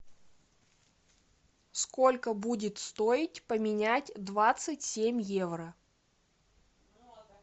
сколько будет стоить поменять двадцать семь евро